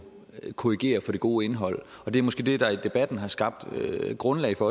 korrigere for det gode indhold og det er måske det der i debatten har skabt grundlag for